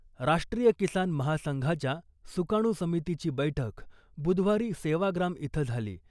राष्ट्रीय किसान महासंघाच्या सुकाणू समितीची बैठक बुधवारी सेवाग्राम इथं झाली .